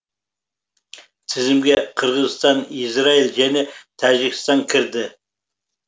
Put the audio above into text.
тізімге қырғызстан израиль және тәжікстан кірді